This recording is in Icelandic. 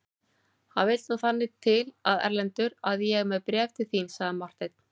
Það vill nú þannig til Erlendur að ég er með bréf til þín, sagði Marteinn.